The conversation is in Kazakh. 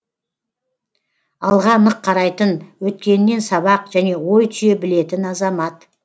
алға нық қарайтын өткенінен сабақ және ой түйе білетін азамат